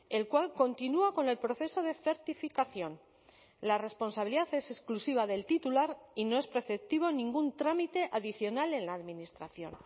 el cual continúa con el proceso de certificación la responsabilidad es exclusiva del titular y no es preceptivo ningún trámite adicional en la administración